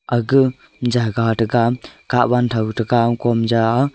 aga jagah thaga katwan thow taga kom ja aa.